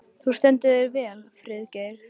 Þú stendur þig vel, Friðgeir!